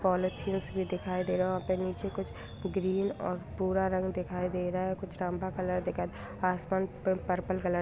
polythenes भी दिखाई दे रहा है और फिर नीचे कुछ ग्रीन और पूरा रंग दिखाई दे रहा है कुछ रंभा कलर दिखाई आसमान पर पर्पल कलर --